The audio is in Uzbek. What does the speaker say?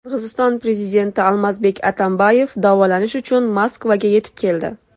Qirg‘iziston prezidenti Almazbek Atambayev davolanish uchun Moskvaga yetib keldi.